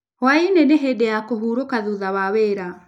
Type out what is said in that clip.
Hwaĩ-inĩ nĩ hĩndĩ ya kũhurũka thutha wa wĩra.